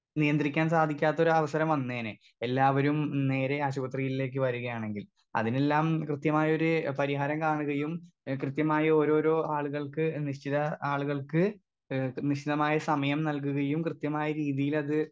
Speaker 2 നിയന്ത്രിക്കാൻ സാധിക്കാത്തൊരവസരം വന്നേനെ എല്ലാവരും നേരെ ആശുപത്രിയിലേക്ക് വരികയാണെങ്കിൽ അതിനെല്ലാം കൃത്യമായൊര് പരിഹാരം കാണുകയും ഏ കൃത്യമായ ഓരോരോ ആളുകൾക്ക് നിശ്ചിത ആളുകൾക്ക്‌ ഏ നിശ്ചിതമായ സമയം നൽകുകയും കൃത്യമായ രീതീലത്.